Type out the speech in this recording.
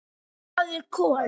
Hvað er kol?